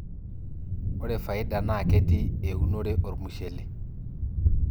ore faida naa ketii eeunore ormushele